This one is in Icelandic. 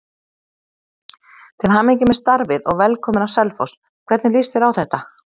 Til hamingju með starfið og velkominn á Selfoss, hvernig lýst þér á þetta?